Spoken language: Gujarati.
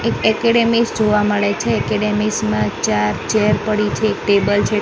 એક એકેડેમીસ જોવા મળે છે. એકેડેમીસમાં ચાર ચેર પડી છે એક ટેબલ છે ટેબલ--